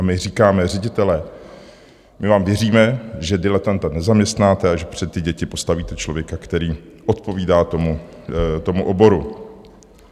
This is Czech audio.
A my říkáme, ředitelé, my vám věříme, že diletanta nezaměstnáte a že před ty děti postavíte člověka, který odpovídá tomu oboru.